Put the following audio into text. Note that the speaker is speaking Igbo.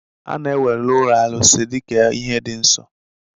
A na-ewere ụlọ arụsị dị ka ihe dị nsọ.